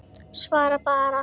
Svaraðu bara.